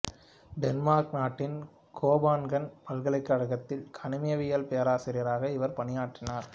Denmark நாட்டின் Copenhagen பல்கலைக் கழகத்தில் கனிமவியல் பேராசிரியராக இவர் பணியாற்றினார்